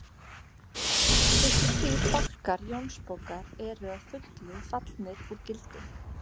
Fyrstu þrír bálkar Jónsbókar eru að fullu fallnir úr gildi.